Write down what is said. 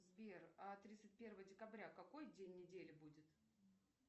сбер а тридцать первое декабря какой день недели будет